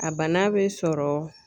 A bana be sɔrɔ